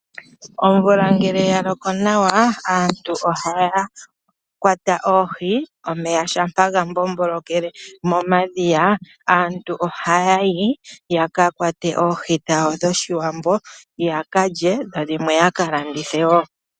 Omvula ngele ya loko nawa, aaantu ohaya kwata oohi. Omeya shampa ya kungulukile momadhiya, aantu ohaya yi ya ka kwate oohi dhawo dhOshiwambo ya ka lye, dho dhimwe ya ka landithe wo.